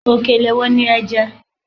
Òkèlè wo ni ẹ jẹ́?